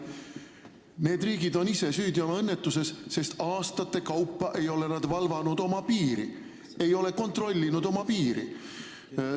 Need riigid on ise süüdi oma õnnetuses, sest aastate kaupa ei ole nad oma piiri valvanud, ei ole oma piiri kontrolli all hoidnud.